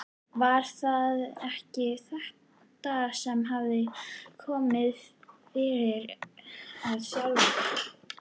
Var það ekki þetta sem hafði komið fyrir hann sjálfan?